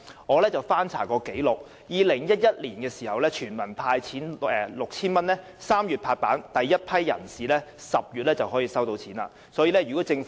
我曾翻查紀錄 ，2011 年全民派 6,000 元的決定於3月"拍板"，第一批人士在10月已取得款項。